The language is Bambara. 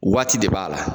Waati de b'a la